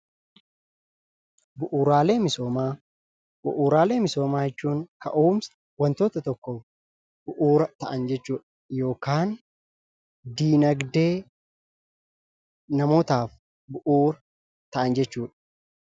Bu'uuraalee misoomaa jechuun ka'umsa wantoota tokkoof bu'uura ta'an jechuudha. Yookaan dinagdee namootaaf bu'uura ta'an jechuudha.